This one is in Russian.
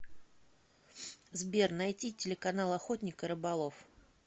сбер найти телеканал охотник и рыболов